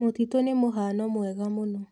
Mũtitũ nĩ mũhano mwega mũno.